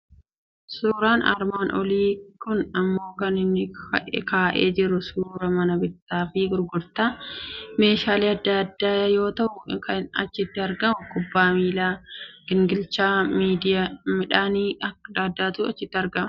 Suuraan armaan olii kun immoo kan inni kaa'ee jiru suuraa mana bittaa fi gurgurtaa meeshaalee adda addaa yoo ta'u, kan achitti argamu kubbaa miilaa, gingilachaa midhaanii adda addaatu achitti argama.